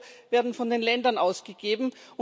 Euro werden von den Ländern ausgegeben.